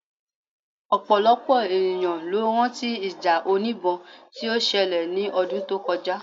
Ọ̀pọ̀lọpọ̀ ènìyàn ló rán tí ìjà oníbọn tí ó ṣẹlẹ̀ ní ọdún tó kọjá